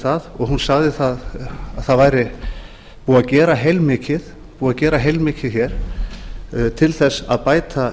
það og hún sagði að það væri búið að gera heilmikið til þess að bæta